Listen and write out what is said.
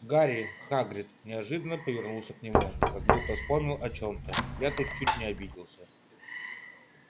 гарри хагрид неожиданно повернулся к нему как будто вспомнил о чем-то я тут чуть не обиделся